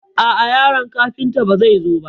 A'a yaron Kafuntan ba zai zo ba.